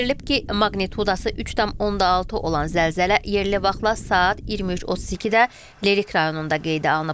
Bildirilib ki, maqnitdası 3.6 olan zəlzələ yerli vaxtla saat 23:32-də Lerik rayonunda qeydə alınıb.